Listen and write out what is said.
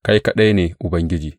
Kai kaɗai ne Ubangiji.